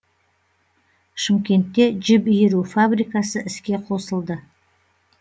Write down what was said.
шымкентте жіп иіру фабрикасы іске қосылды